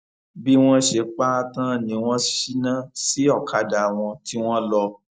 bí wọn ṣe pa á tán ni wọn ṣínà sí ọkadà wọn tí wọn lọ